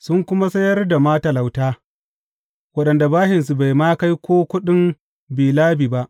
Sun kuma sayar da matalauta waɗanda bashinsu bai ma kai ko kuɗin bi labi ba.